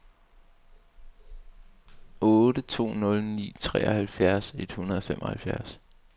otte to nul ni treoghalvfjerds et hundrede og femoghalvfjerds